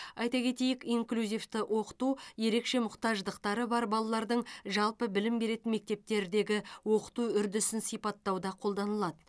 айта кетейік инклюзивті оқыту ерекше мұқтаждықтары бар балалардың жалпы білім беретін мектептердегі оқыту үрдісін сипаттауда қолданылады